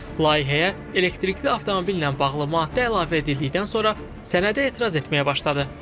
Layihəyə elektrikli avtomobillə bağlı maddə əlavə edildikdən sonra sənədə etiraz etməyə başladı.